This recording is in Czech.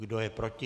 Kdo je proti?